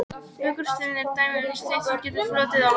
Vikursteinn er dæmi um stein sem getur flotið á vatni.